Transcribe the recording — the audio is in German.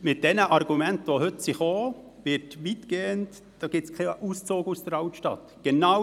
Mit den heute dargelegten Argumenten wird kein Auszug aus der Altstadt erfolgen.